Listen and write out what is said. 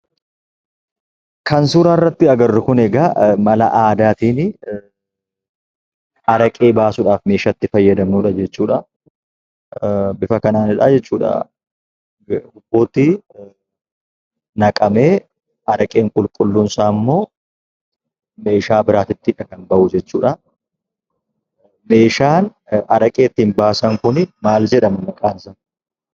Suuraa kana irratti kan argamu mala aadaatiin karaa ittiin araqeen baafamuu dha. Meeshaan ittiin araqeen baafamu kun maal jedhama?